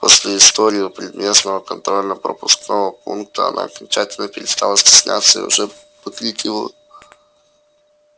после истории у предместного контрольно пропускного пункта она окончательно перестала стесняться и уже покрикивала